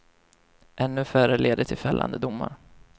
Ännu färre leder till fällande domar.